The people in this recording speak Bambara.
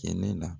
Kɛnɛ la